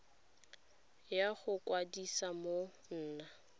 ya go ikwadisa go nna